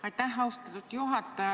Aitäh, austatud juhataja!